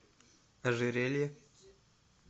ожерелье